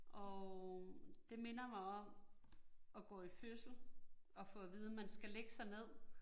Og det minder mig om at gå i fødsel og få at vide, man skal lægge sig ned